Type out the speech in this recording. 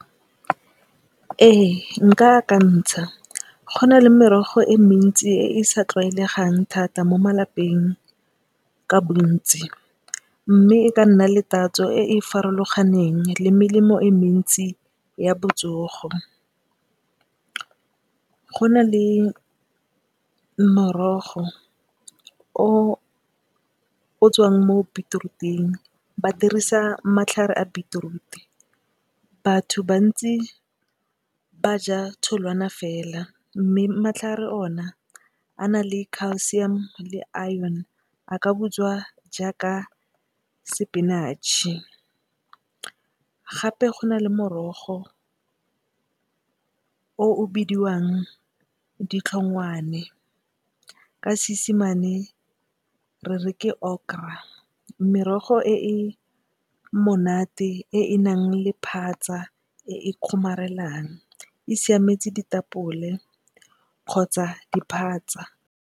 Ee nka akantsha, go na le merogo e mentsi e e sa tlwaelegang thata mo malapeng ka bontsi mme, e ka nna le tatso e e farologaneng le melemo e mentsi ya botsogo, go na le morogo o o tswang mo bitiruting, ba dirisa matlhare a bitiruti. Batho bantsi ba ja tholwana fela mme, matlhare ona a na le Calcium le Aene, a ka butswa jaaka sepinatšhe. Gape go na le morogo o bidiwang Ditlhongwane ka Seesimane re re ke Okra merogo e e monate e e nang le phatsa e e kgomarelang e siametse ditapole kgotsa diphatsa.